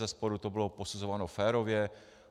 Bezesporu to bylo posuzováno férově.